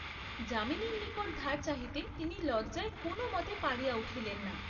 যামিনীর নিকট ধার চাহিতে তিনি লজ্জায় কোন মতে পারিয়া উঠিলেন না।